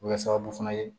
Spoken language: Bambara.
O bɛ kɛ sababu fana ye